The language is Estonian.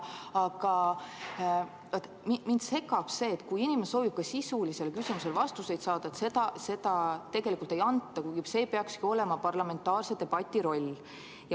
Aga mind segab see, et kui inimene soovib ka sisulistele küsimustele vastuseid saada, siis neid tegelikult ei anta, kuigi see peakski olema parlamentaarse debati roll.